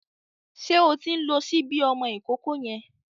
Ṣé o ti ń lo ṣíbí ọmọ ìkókó yẹn?